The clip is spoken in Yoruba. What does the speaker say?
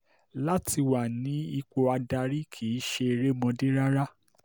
láti wà ní ipò adarí kì í ṣe erémọdé rárá